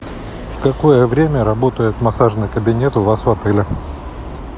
в какое время работает массажный кабинет у вас в отеле